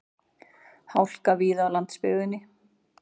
Hálka víða á landsbyggðinni